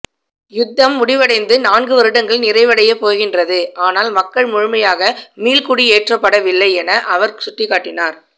யுத்தம் முடிவடைந்து நான்கு வருடங்கள் நிறைவடைய போகின்றது ஆனால் மக்கள் முழுமையாக மீள்குடியேற்றப்படவில்லை என அவர் சுட்டிக்காட்டினார்